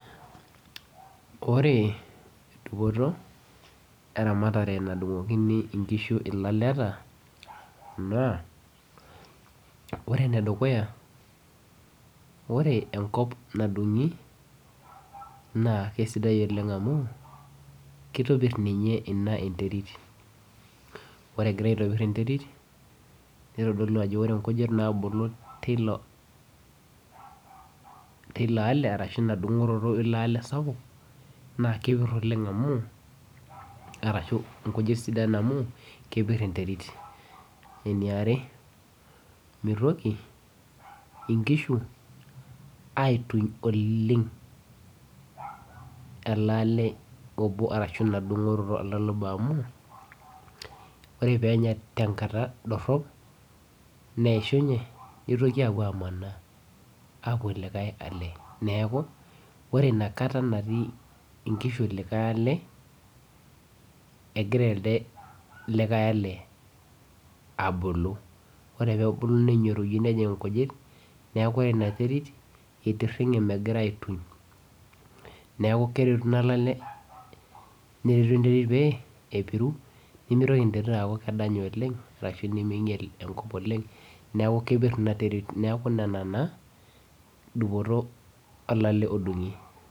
Ore dupoto eramatare nadungokini ilaleta naa ore ene dukuya, ore enkop nadung'i naa kitopir ninye Ina enterit, nitodolu ajo ore eitopor enterit, ore nkujit, teilo are ashu ilo Ina dungoroto eilo alw sapuk naa kepir oleng amu, arashu nkujit sidan, amu kepir enterit. ore eniare mitoki inkishu aituny oleng, elaallw obo ashu Ina dungoroto ele ale obo amu, ore pee elo